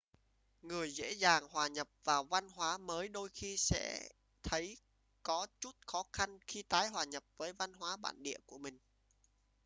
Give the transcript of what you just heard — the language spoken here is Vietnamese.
người dễ dàng hòa nhập vào văn hóa mới đôi khi sẽ thấy có chút khó khăn khi tái hòa nhập với văn hóa bản địa của mình